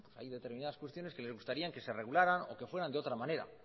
hay determinadas cuestiones que les gustarían que se regularan o que fueran de otra manera